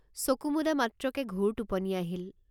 চকু মুদা মাত্ৰকে ঘোৰ টোপনি আহিল।